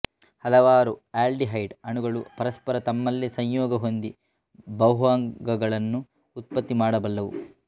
ಹಲವಾರು ಆಲ್ಡಿಹೈಡ್ ಅಣುಗಳು ಪರಸ್ಪರ ತಮ್ಮಲ್ಲೇ ಸಂಯೋಗ ಹೊಂದಿ ಬಹ್ವಂಗಗಳನ್ನು ಉತ್ಪತ್ತಿ ಮಾಡಬಲ್ಲವು